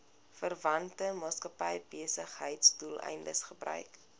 verwante maatskappybesigheidsdoeleindes gebruik